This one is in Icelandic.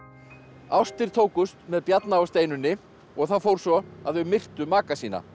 ástir tókust með Bjarna og Steinunni og það fór svo að þau myrtu maka sína